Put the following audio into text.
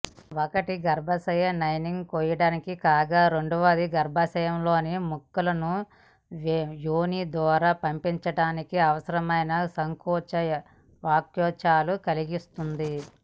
ఒకటి గర్భాశయ లైనింగ్ కోయటానికి కాగా రెండవది గర్భాశయంలోని ముక్కలను యోనిద్వారా పంపివేయటానికి అవసరమైన సంకోచ వ్యాకోచాలు కలిగిస్తుంది